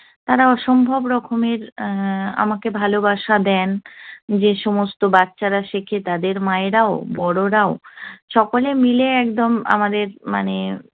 তারা অসম্ভব রকমের আমাকে ভালবাসা দেন। যে সমস্ত বাচ্চারা শেখে তাদের মায়েরাও, বড়রাও- সকলে মিলে একদম আমাদের মানে